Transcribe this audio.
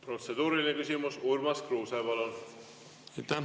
Protseduuriline küsimus, Urmas Kruuse, palun!